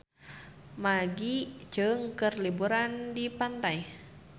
Maggie Cheung keur liburan di pantai